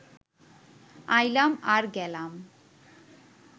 আইলাম আর গেলাম